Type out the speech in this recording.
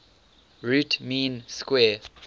root mean square